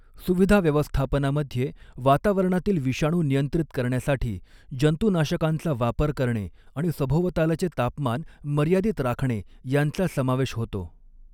सुविधा व्यवस्थापनामध्ये वातावरणातील विषाणू नियंत्रित करण्यासाठी जंतुनाशकांचा वापर करणे आणि सभोवतालचे तापमान मर्यादित राखणे यांचा समावेश होतो.